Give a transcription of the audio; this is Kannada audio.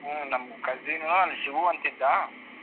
ಹ್ಮ್ ನಮ್ cousin ಶಿವು ಅಂತಾ ಇದ್ದಾ.